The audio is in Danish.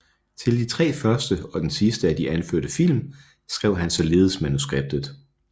Til de tre første og den sidste af de anførte film skrev han ligeledes manuskriptet